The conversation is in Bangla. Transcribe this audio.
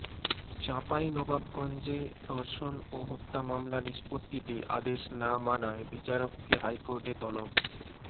চাঁপাইনবাবগঞ্জে ধর্ষণ ও হত্যা মামলা নিষ্পত্তিতে আদেশ না মানায় বিচারককে হাইকোর্টে তলব